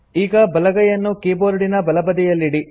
ಈಗ ಬಲಗೈಯನ್ನು ಕೀಬೋರ್ಡಿನ ಬಲಬದಿಯಲ್ಲಿಡಿ